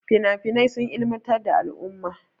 Finafinai sun ilimantar da al'umma.